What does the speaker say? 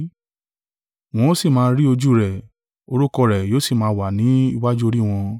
Wọ́n ó si máa rí ojú rẹ̀; orúkọ rẹ̀ yóò si máa wà ni iwájú orí wọn.